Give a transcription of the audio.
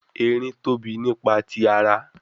Erin tobi nipa ti ara